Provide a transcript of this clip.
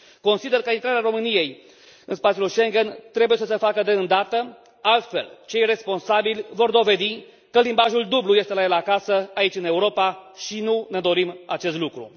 Consider că intrarea României în spațiul Schengen trebuie să se facă de îndată, altfel cei responsabili vor dovedi că limbajul dublu este la el acasă aici în Europa și nu ne dorim acest lucru.